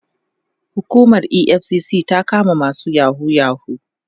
hukumar EFCC na ta kama masu yahoo yahoo